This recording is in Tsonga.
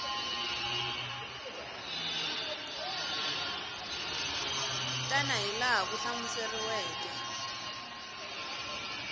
tana hi laha swi hlamuseriweke